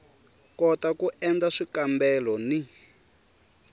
kota ku endla swikambelo ni